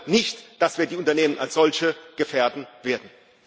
Ich glaube nicht, dass wir die Unternehmen als solche gefährden werden.